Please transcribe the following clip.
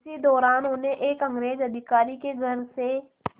इसी दौरान उन्हें एक अंग्रेज़ अधिकारी के घर से